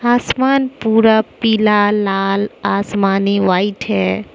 आसमान पूरा पीला लाल आसमानी व्हाइट है।